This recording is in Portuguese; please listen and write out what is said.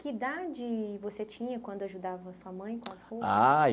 Que idade você tinha quando ajudava sua mãe com as roupas? Ah.